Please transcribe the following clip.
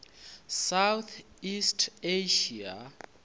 south east asia